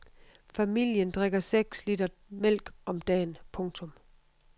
Familien drikker seks liter mælk om dagen. punktum